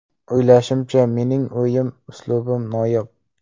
O‘ylashimcha, mening o‘yin uslubim noyob.